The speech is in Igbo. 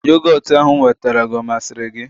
Yogotu ahụ m nwetara gị ọ masịrị gị?